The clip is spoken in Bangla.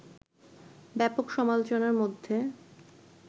ব্যাপক সমালোচনার মধ্যে